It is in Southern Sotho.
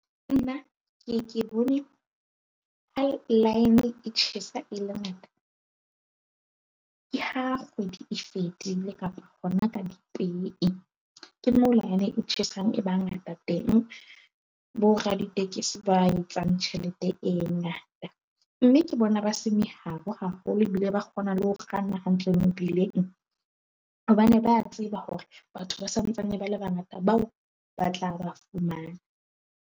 Nna ke bone e tjhesa e le ngata ke ha kgwedi e fedile kapa hona ka dipei, ke moo e tjhesang. E ba ngata teng boraditekesi ba etsang tjhelete e ngata, mme ke bona ba se meharo haholo ebile ba kgona le ho kganna hantle mebileng. Hobane ba tseba hore batho ba santsane ba le bangata bao ba tla ba fumana.